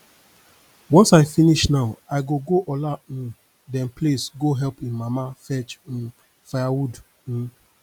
once i finish now i go go ola um dem place go help im mama fetch um firewood um